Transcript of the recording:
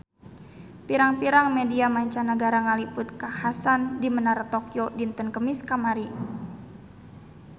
Pirang-pirang media mancanagara ngaliput kakhasan di Menara Tokyo dinten Kemis kamari